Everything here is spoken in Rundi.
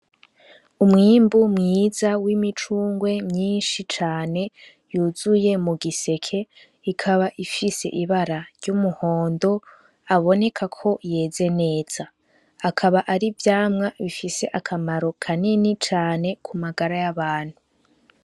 Umwimbu mwiza w'imicungwe myinshi cane yuzuye mu giseke ikaba ifise ibara ry'umuhondo aboneka ko yeze neza akaba ari vyamwa bifise akamaro kanini cane ku magara y'abantu.